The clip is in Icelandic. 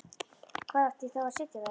Hvar átti ég þá að sitja?